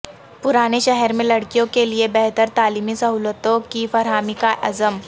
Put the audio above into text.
پرانے شہر میں لڑکیوں کیلئے بہتر تعلیمی سہولتوں کی فراہمی کا عزم